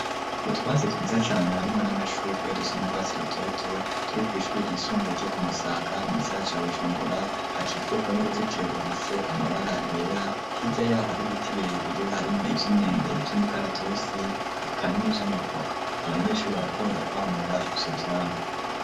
Utwansi twiza cane harimo n'amashugwe dusa n'urwatsi rutoto turi ku ishuri ryisumbuye ryo kumusaga mugisagara ca bujumbura ahakikujwe n'uruzitiro rugiye amabara yera, hiryayaho hari biti birebire harimo iby'imyembe by'imikaratusi eka ni by'amavoka abanyeshuri barakunda kwamura ivyo vyamwa.